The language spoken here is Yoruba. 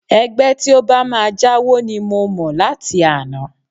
Ẹgbẹ́ tí ó bá máa jáwo ni mo mọ̀ láti àná